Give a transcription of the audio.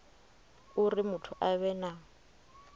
uri muthu a vhe na